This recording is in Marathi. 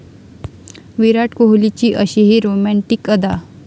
विराट कोहलीची अशीही रोमँटिक अदा!